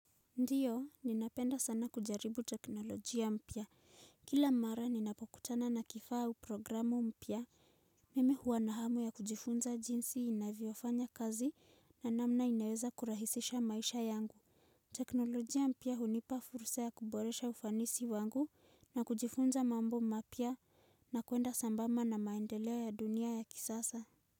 Ndiyo ninapenda sana kujaribu teknolojia mpya. Kila mara ninapokutana na kifaa au programu mpya mimi huwa na hamu ya kujifunza jinsi naviyofanya kazi na namna inaweza kurahisisha maisha yangu. Teknolojia mpya hunipa furusa ya kuboresha ufanisi wangu na kujifunza mambo mapya na kuenda sambamba na maendeleo ya dunia ya kisasa.